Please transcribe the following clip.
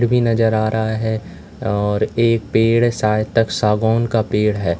भी नजर आ रहा है और एक पेड़ सायतक सागौन का पेड़ है।